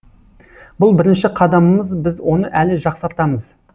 бұл бірінші қадамымыз біз оны әлі жақсартамыз